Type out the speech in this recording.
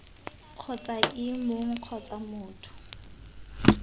kgotsa ii mong kgotsa motho